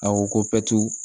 A ko ko